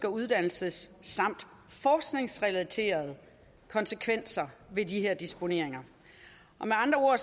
og uddannelses samt forskningsrelaterede konsekvenser ved de her disponeringer med andre